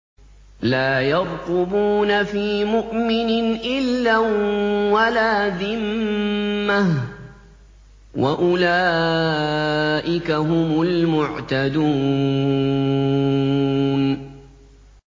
لَا يَرْقُبُونَ فِي مُؤْمِنٍ إِلًّا وَلَا ذِمَّةً ۚ وَأُولَٰئِكَ هُمُ الْمُعْتَدُونَ